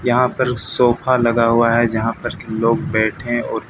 यहां पर सोफा लगा हुआ है जहां पर की लोग बैठे हैं और।